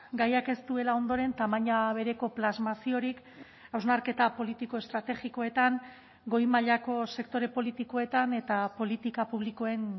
gaiak ez duela ondoren tamaina bereko plasmaziorik hausnarketa politiko estrategikoetan goi mailako sektore politikoetan eta politika publikoen